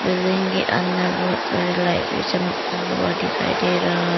building के अंदर बहुत सारी लाइट्स भी चमकता हुआ दिखाई दे रहा--